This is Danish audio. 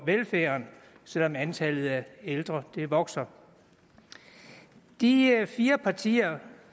velfærden selv om antallet af ældre vokser de fire fire partier